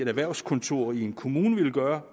erhvervskontor i en kommune vil gøre